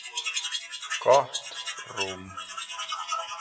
Gott rúm.